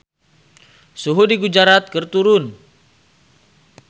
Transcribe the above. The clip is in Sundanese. Suhu di Gujarat keur turun